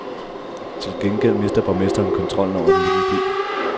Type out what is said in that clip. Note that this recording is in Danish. Til gengæld mister borgmesteren kontrollen over den lille by.